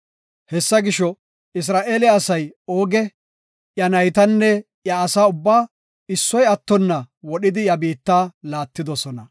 Hessa gisho, Isra7eele asay Ooge, iya naytanne iya asa ubbaa issoy attonna wodhidi iya biitta laattidosona.